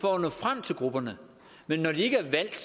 for at nå frem til grupperne men når de ikke er valgt